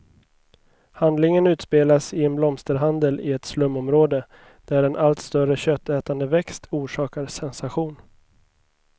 Handlingen utspelas i en blomsterhandel i ett slumområde, där en allt större köttätande växt orsakar sensation.